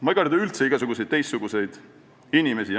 Ma ei karda üldse igasuguseid teistsuguseid inimesi.